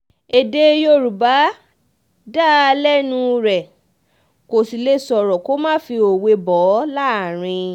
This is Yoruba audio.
èdè yorùbá dá lẹ́nu rẹ um kó sì lè sọ̀rọ̀ kó má fi òwe bò um ó láàrín